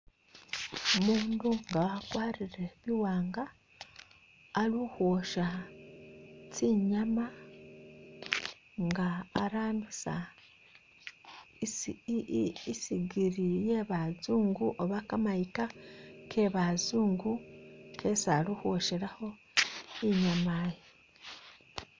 Umundu nga wakwarire bi wanga ali ukhwosha tsinyama nga arambisa i sigiri ye bazungu oba kamayika kebazungu isi ali ukhwoshelakho inyama iyi.